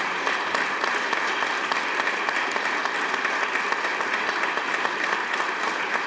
Palun nüüd kõiki istungisaalis viibijaid ühispildi tegemiseks siia ette kõnepuldi juurde.